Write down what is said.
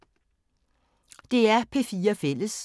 DR P4 Fælles